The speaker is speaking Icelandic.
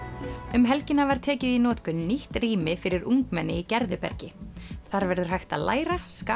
um helgina var tekið í notkun nýtt rými fyrir ungmenni í Gerðubergi þar verður hægt að læra skapa